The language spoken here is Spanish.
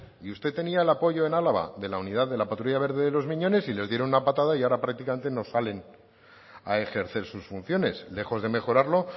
y usted tenía el apoyo en álava de la unidad de la patrulla verde de los miñones y les dieron una patada y ahora prácticamente no salen a ejercer sus funciones lejos de mejorarlo